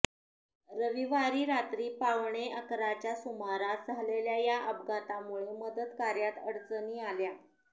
रविवारी रात्री पावणे अकराच्या सुमारास झालेल्या या अपघातामुळे मदतकार्यात अडचणी आल्या